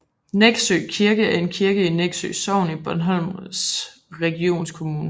Nexø Kirke er en kirke i Nexø Sogn i Bornholms Regionskommune